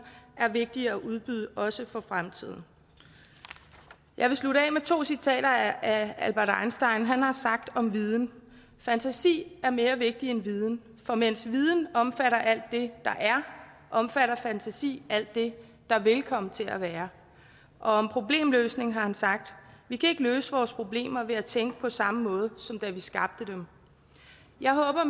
er vigtige at udbyde også i fremtiden jeg vil slutte af med to citater af albert einstein han har sagt om viden fantasi er mere vigtig end viden for mens viden omfatter alt det der er omfatter fantasi alt det der vil komme til at være og om problemløsning har han sagt vi kan ikke løse vores problemer ved at tænke på samme måde som da vi skabte dem jeg håber at